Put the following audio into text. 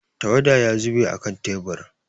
Tawada ya zube a kan tebur.